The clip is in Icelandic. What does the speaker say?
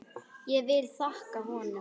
Ég vil þakka honum.